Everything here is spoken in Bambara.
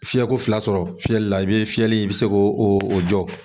Fiyɛko fila sɔrɔ fiyɛlila i bɛ fiyɛli i bɛ se ko o o jɔ.